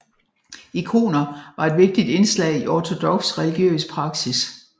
Ikoner var et vigtigt indslag i ortodoks religiøs praksis